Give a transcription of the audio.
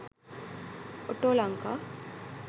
autolanka